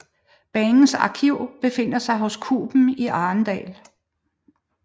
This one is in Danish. Banens arkiv befinder sig hos Kuben i Arendal